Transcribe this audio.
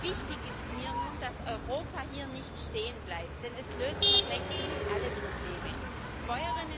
Wichtig ist mir nun, dass Europa hier nicht stehenbleibt, denn es sind noch längst nicht alle Probleme gelöst.